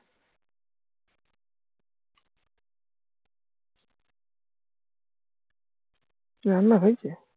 রান্না হইছে